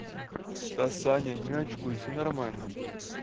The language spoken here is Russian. да саня не очкуй всё нормально будет